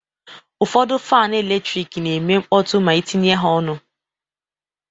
Ụfọdụ fan eletrik na-eme mkpọtụ ma itinye ha ọnụ.